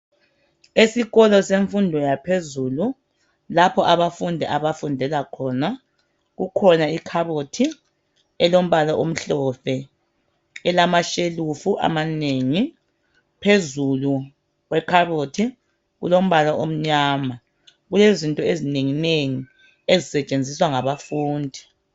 Esikolo semfundo yaphezulu, lapho abafundi abafundela khona kukhona ikhabothi elombala omhlophe elamashelufu amanengi. Phezulu kwekhabothi kulombala omnyama. Kulezinto ezinenginengi ezisetshenziswa ngabafundi.